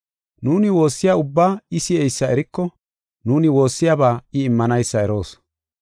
Nuuni woossiya ubbaa I si7eysa eriko, nuuni woossiyaba I immanaysa eroos.